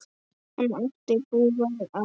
Hann átti búgarð á